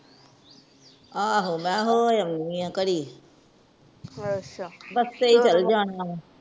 ਆਹੋ ਮੈਂ ਕਿਹਾ ਹੋ ਏਨੀ ਆ ਘੜੀ ਬੱਸ ਤੇ ਏ ਚਲ ਜਨੀ ਆ